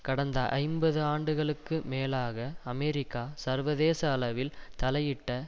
கடந்த ஐம்பது ஆண்டுகளுக்கு மேலாக அமெரிக்கா சர்வதேச அளவில் தலையிட்ட